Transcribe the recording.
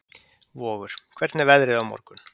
Vogur, hvernig er veðrið á morgun?